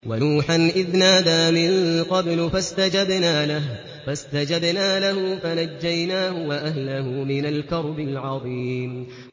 وَنُوحًا إِذْ نَادَىٰ مِن قَبْلُ فَاسْتَجَبْنَا لَهُ فَنَجَّيْنَاهُ وَأَهْلَهُ مِنَ الْكَرْبِ الْعَظِيمِ